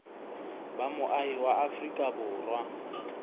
ba moahi wa afrika borwa